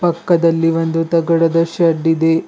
ಪಕ್ಕದಲ್ಲಿ ಒಂದು ತಗಡದ ಶೆಡ್ ಇದೆ.